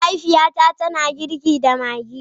Mahaifiyata tana girki da Maggi.